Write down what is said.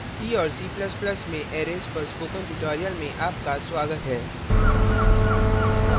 c और c ++ में arrays arrays पर spoken tutorial में आपका स्वागत है